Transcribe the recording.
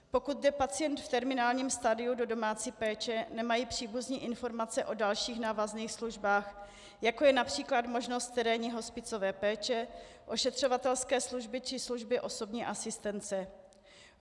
Pokud jde pacient v terminálním stadiu do domácí péče, nemají příbuzní informace o dalších návazných službách, jako je například možnost terénní hospicové péče, ošetřovatelské služby či služby osobní asistence.